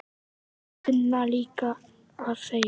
Þeir kunna líka að þegja